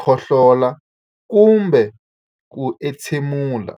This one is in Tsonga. khohlola kumbe ku entshemula.